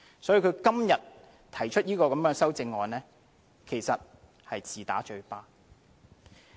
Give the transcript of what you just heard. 所以，他今天提出這項修正案，其實是自打嘴巴。